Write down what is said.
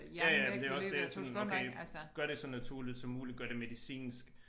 Ja ja men det også det sådan okay gør det så naturligt som muligt gør det medicinsk